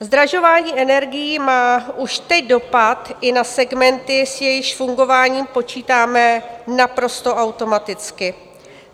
Zdražování energií má už teď dopad i na segmenty, s jejichž fungováním počítáme naprosto automaticky.